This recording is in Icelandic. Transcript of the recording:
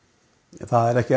það er ekki